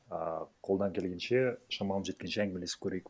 а қолдан келгенше шамам жеткенше әңгімелесіп көрейік